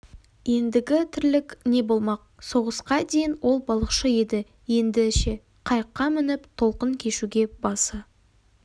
ендігі тірлік не болмақ соғысқа дейін ол балықшы еді енді ше қайыққа мініп толқын кешуге басы